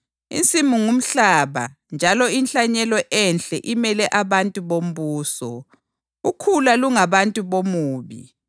Insimu ngumhlaba njalo inhlanyelo enhle imele abantu bombuso. Ukhula lungabantu bomubi